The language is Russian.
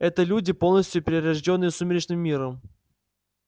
это люди полностью перерождённые сумеречным миром